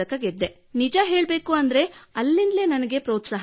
ನಿಜಹೇಳಬೇಕೆಂದರೆ ಅಲ್ಲಿಂದಲೇ ನನಗೆ ಒತ್ತು ದೊರೆಯಿತು